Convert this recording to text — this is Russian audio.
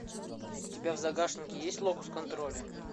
у тебя в загашнике есть локус контроля